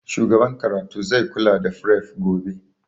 Shugaban karatu zai kula da fref gobe